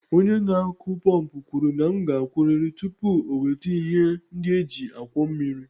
Onye na-akụ pọmpụ kwuru na m ga-akwụrịrị tupu o weta ihe ndị e ji akwọ mmiri.